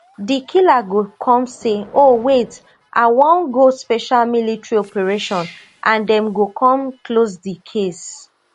di killer go come say oh wait i wan go special military operation and dem go come close di case